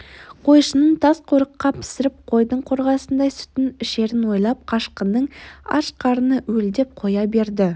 қойшының тасқорыққа пісіріп қойдың қорғасындай сүтін ішерін ойлап қашқынның аш қарыны уілдеп қоя берді